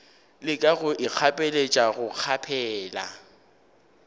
leka go ikgapeletša go kgaphela